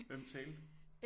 Hvem talte